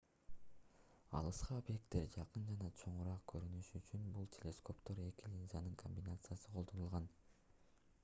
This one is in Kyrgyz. алыскы объекттер жакын жана чоңураак көрүнүшү үчүн бул телескоптордо эки линзанын комбинациясы колдонулган